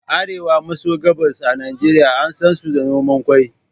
Arewa maso gabas a Najeriya an sansu da noman ƙwai.